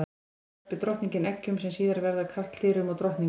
Þá verpir drottningin eggjum sem síðar verða að karldýrum og drottningum.